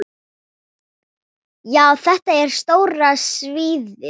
Já, þetta er stóra sviðið.